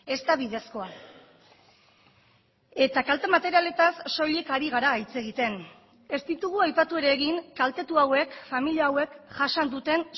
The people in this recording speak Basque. ez da bidezkoa eta kalte materialetaz soilik ari gara hitz egiten ez ditugu aipatu ere egin kaltetu hauek familia hauek jasan duten